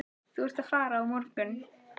Þú ert að fara á morgun.